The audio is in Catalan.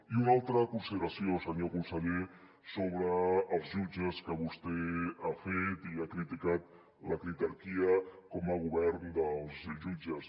i una altra consideració senyor conseller sobre els jutges que vostè ha fet i ha criticat la critarquia com a govern dels jutges